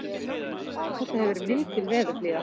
Þetta hefur verið mikil veðurblíða